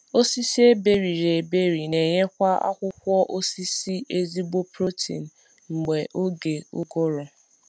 Osisi eberiri eberi n’enyekwa akwụkwọ akwụkwọ osisi ezigbo protein mgbe oge ụgụrụ